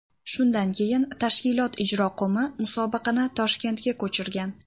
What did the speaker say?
Shundan keyin tashkilot ijroqo‘mi musobaqani Toshkentga ko‘chirgan.